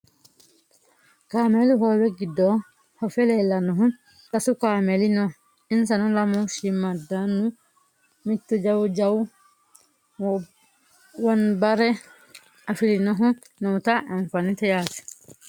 kameelu hoowe giddo fafe leellannohu sasu kameeli no insano lamu shiimmaaddunna mittu jawu jawa wonabre afirinohu noota anfannite yaate .